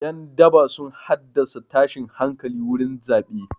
Ƴan daba sun haddasa tashin hankali wurin zaɓe.